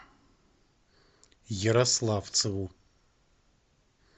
ярославцеву